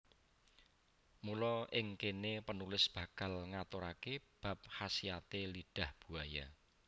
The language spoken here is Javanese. Mula ing kene penulis bakal ngaturake bab khasiate lidah buaya